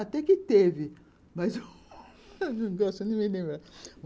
Até que teve, mas eu não gosto nem de lembrar.